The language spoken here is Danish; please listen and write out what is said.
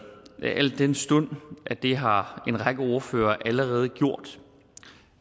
al den stund at det har en række ordførere allerede gjort